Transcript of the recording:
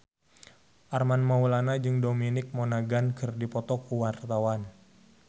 Armand Maulana jeung Dominic Monaghan keur dipoto ku wartawan